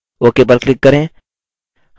ok पर click करें